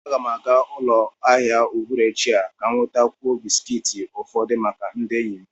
Aga m aga ụlọ ahịa n'uhuruchi a ka m nwetakwuo bisikiiti ufodu maka ndị enyi m